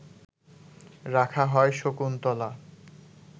রাখা হয় শকুন্তলা